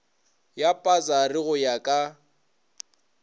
ya pasari go ya ka